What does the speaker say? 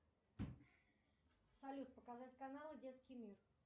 салют показать каналы детский мир